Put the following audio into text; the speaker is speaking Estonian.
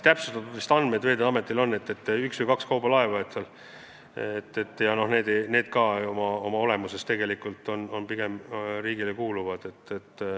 Veeteede Ametil on vist andmed, et üks või kaks kaubalaeva meil on, aga need kuuluvad riigile.